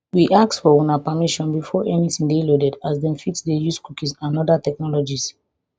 we ask for una permission before anytin dey loaded as dem fit dey use cookies and oda technologies